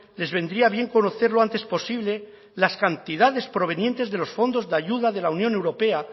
les vendría bien conocer lo antes posible las cantidades provenientes de los fondos de ayuda de la unión europea